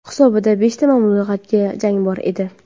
Hisobida beshta mag‘lubiyatli jang bor edi.